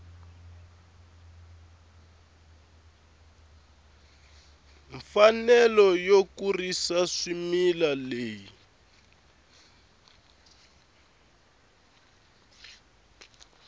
mfanelo yo kurisa swimila leyi